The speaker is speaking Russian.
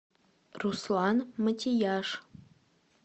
руслан матияж